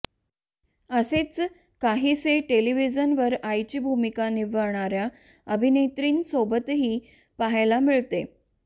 असेच काहीसे टेलिव्हिजनवर आईची भूमिका निभावणाऱ्या अभिनेत्रींसोबतही पाहायला मिळते